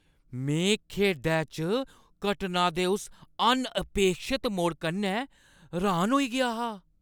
में खेढै च घटनां दे उस अनअपेक्षत मोड़ कन्नै र्‌हान होई गेआ हा।